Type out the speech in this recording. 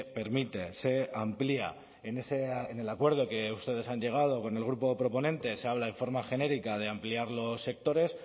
permite se amplía en el acuerdo que ustedes han llegado con el grupo proponente se habla de forma genérica de ampliar los sectores